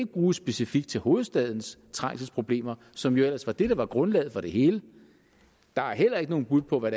bruges specifikt til hovedstadens trængselsproblemer som jo ellers var det der var grundlaget for det hele der er heller ikke nogen bud på hvad